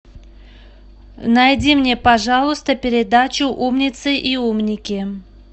найди мне пожалуйста передачу умницы и умники